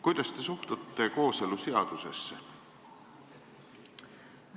Kuidas te suhtute kooseluseadusesse?